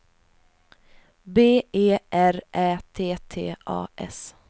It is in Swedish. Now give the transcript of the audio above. B E R Ä T T A S